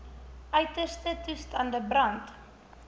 uiterste toestande brand